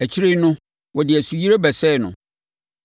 Akyire no wɔde nsuyire bɛsɛee no.